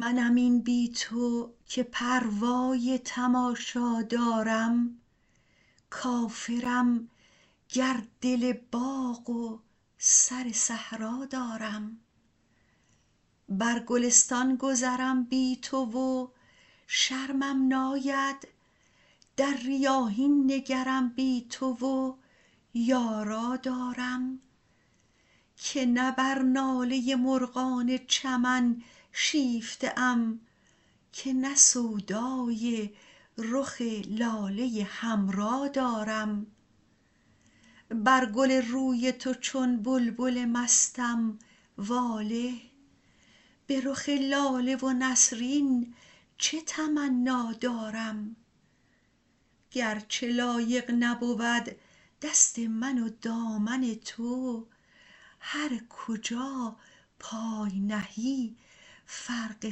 منم این بی تو که پروای تماشا دارم کافرم گر دل باغ و سر صحرا دارم بر گلستان گذرم بی تو و شرمم ناید در ریاحین نگرم بی تو و یارا دارم که نه بر ناله مرغان چمن شیفته ام که نه سودای رخ لاله حمرا دارم بر گل روی تو چون بلبل مستم واله به رخ لاله و نسرین چه تمنا دارم گر چه لایق نبود دست من و دامن تو هر کجا پای نهی فرق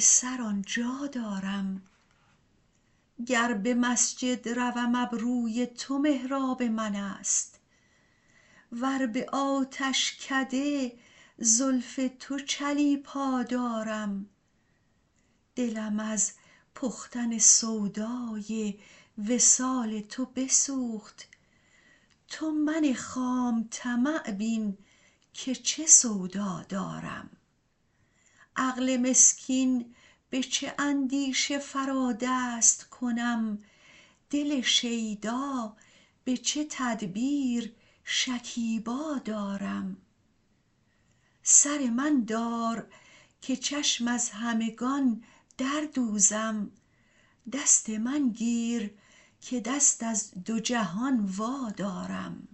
سر آن جا دارم گر به مسجد روم ابروی تو محراب من است ور به آتشکده زلف تو چلیپا دارم دلم از پختن سودای وصال تو بسوخت تو من خام طمع بین که چه سودا دارم عقل مسکین به چه اندیشه فرا دست کنم دل شیدا به چه تدبیر شکیبا دارم سر من دار که چشم از همگان در دوزم دست من گیر که دست از دو جهان وادارم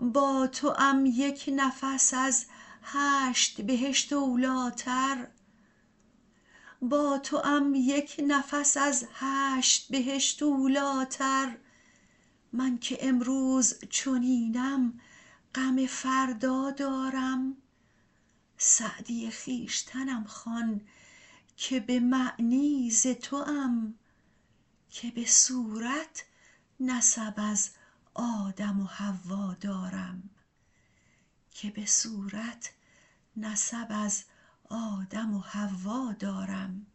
با توام یک نفس از هشت بهشت اولی تر من که امروز چنینم غم فردا دارم سعدی خویشتنم خوان که به معنی ز توام که به صورت نسب از آدم و حوا دارم